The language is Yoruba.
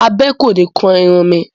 Abẹ kò ni kan irun mi.